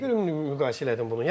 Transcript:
Mən niyə görə müqayisə elədim bunu?